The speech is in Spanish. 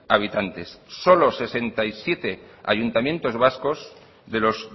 habitantes solo sesenta y siete ayuntamientos vascos de los